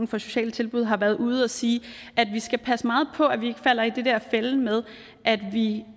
for sociale tilbud har været ude at sige at vi skal passe meget på at vi ikke falder i den der fælde med at vi